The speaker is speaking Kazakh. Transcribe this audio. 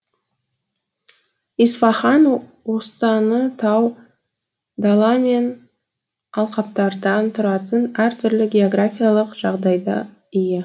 исфаһан останы тау дала мен алқаптардан тұратын әртүрлі географиялық жағдайда ие